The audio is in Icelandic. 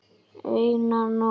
Eina nótt.